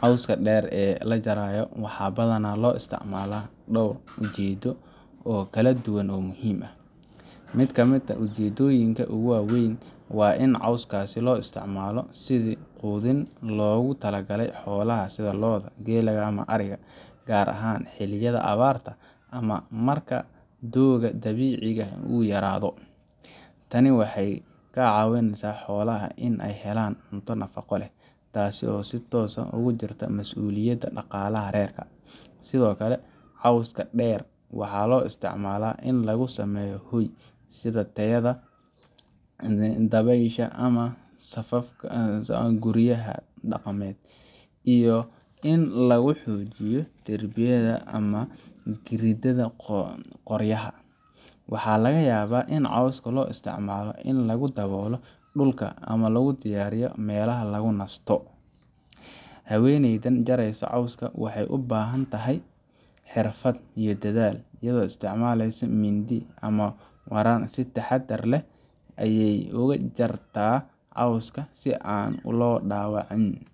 Cawska dheer ee la jarayo waxaa badanaa loo isticmaalaa dhowr ujeedo oo kala duwan oo muhiim ah. Mid ka mid ah ujeeddooyinka ugu waaweyn waa in cawskaasi loo isticmaalo sidii quudin loogu talagalay xoolaha sida lo’da, geela, iyo ariga, gaar ahaan xilliyada abaarta ama marka doogga dabiiciga ah uu yaraado. Tani waxay ka caawisaa xoolaha in ay helaan cunto nafaqo leh, taasoo si toos ah ugu jirta mas’uuliyadda dhaqaalaha reerka. Sidoo kale, cawska dheer waxaa loo isticmaalaa in lagu sameeyo hoy, sida teeda dabaysha ama saqafka guryaha dhaqameed, iyo in lagu xoojiyo derbiyada ama gidaarrada qoryaha. Waxaa laga yaabaa in cawska loo isticmaalo in lagu daboolo dhulka ama lagu diyaariyo meelaha lagu nasto. Haweeneyda jaraysa cawska waxay u baahan tahay xirfad iyo dadaal, iyadoo isticmaaleysa mindi ama waran si taxaddar leh ayey uga jartaa cawska si aan loo dhaawicin